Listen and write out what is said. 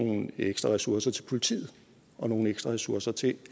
nogle ekstra ressourcer til politiet og nogle ekstra ressourcer til